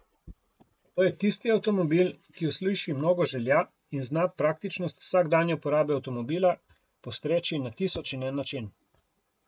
To je tisti avtomobil, ki usliši mnogo želja in zna praktičnost vsakdanje uporabe avtomobila postreči na tisoč in en način.